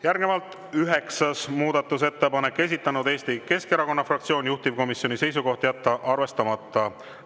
Järgnevalt üheksas muudatusettepanek, esitanud Eesti Keskerakonna fraktsioon, juhtivkomisjoni seisukoht: jätta arvestamata.